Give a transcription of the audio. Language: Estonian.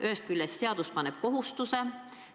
Ühest küljest seadus paneb kohustuse.